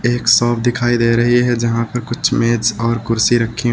एक शॉप दिखाई दे रही है जहां पर कुछ मेज और कुर्सी रखी--